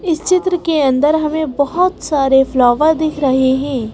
इस चित्र के अंदर हमें बहुत सारे फ्लावर दिख रहे हैं।